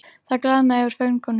Það glaðnaði yfir föngunum.